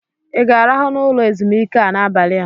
ị ga-arahụ n'ụlọ ezumike a n'abalị a?